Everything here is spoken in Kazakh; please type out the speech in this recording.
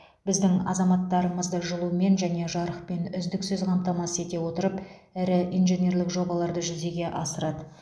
біздің азаматтарымызды жылумен және жарықпен үздіксіз қамтамасыз ете отырып ірі инженерлік жобаларды жүзеге асырады